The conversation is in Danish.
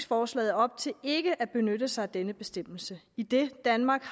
forslaget op til ikke at benytte sig af denne bestemmelse idet danmark